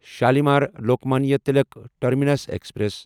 Shalimar Lokmanya Tilak terminus express